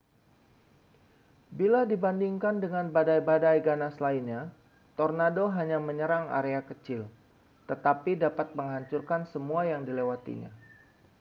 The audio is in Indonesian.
bila dibandingkan dengan badai-badai ganas lainnya tornado hanya menyerang area kecil tetapi dapat menghancurkan semua yang dilewatinya